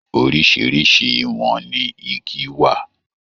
Oríṣiríṣi ìwọ̀n ní igi wà.